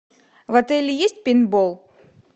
в отеле есть пейнтбол